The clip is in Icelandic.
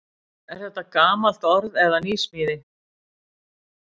Er þetta gamalt orð eða nýsmíði?